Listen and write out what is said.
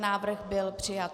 Návrh byl přijat.